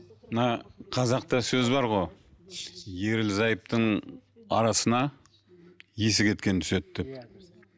мына қазақта сөз бар ғой ерлі зайыптының арасына есі кеткен түседі деп